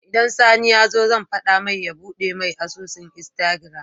Idan sani yazo zan fada mai ya buɗe me asusun instagram